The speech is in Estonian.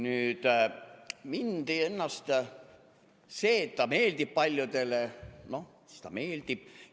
Nüüd, see, et ta meeldib paljudele – noh, siis ta meeldib.